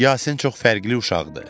Yasin çox fərqli uşaqdır.